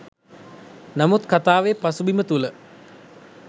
නමුත් කතාවේ පසුබිම තුළ